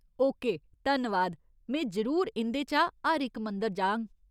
Okay, धन्नवाद, में जरूर इं'दे चा हर इक मंदर जाङ!